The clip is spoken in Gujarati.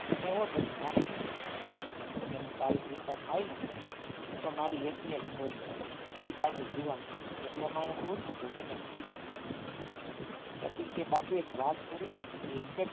તમે હો પછી મારે શું ચિંતા મને તો મારી ચિંતા થાય ને તું તો મારી એકની એક છોરી છો એ પાછી જુવાન એકલો માણસ હોય ને તો ગમે ત્યાં સુઈ જાવ પછી કે બાપુ એક વાત કરું એમ કે